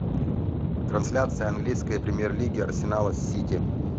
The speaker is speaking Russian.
трансляция английской премьер лиги арсенала с сити